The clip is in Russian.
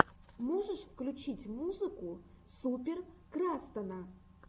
можешь включить музыка супер крастана